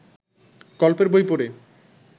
গল্পের বই পড়ে